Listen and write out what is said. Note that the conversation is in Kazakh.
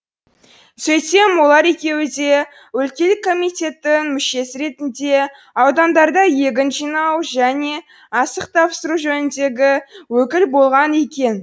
сөйтсем олар екеуі де өлкелік комитеттің мүшесі ретінде аудандарда егін жинау және астық тапсыру жөніндегі өкіл болған екен